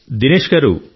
దినేష్ గారూ